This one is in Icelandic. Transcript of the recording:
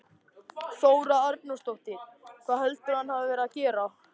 Þóra Arnórsdóttir: Hvað heldurðu að hann hafi verið að gera?